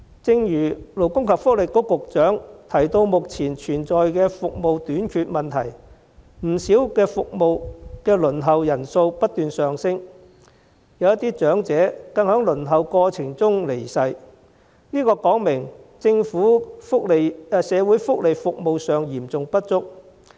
正如勞工及福利局局長早前提到，目前服務短缺，不少服務的輪候人數不斷上升，有些長者更在輪候過程中離世，這說明政府社會福利服務嚴重不足。